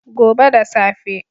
Gobe da safe.